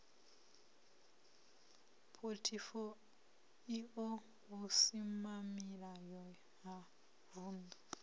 phothifo io vhusimamilayo ha vundu